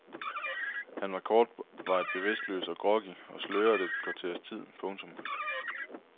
Han var kortvarigt bevidstløs og groggy og sløret et kvarters tid. punktum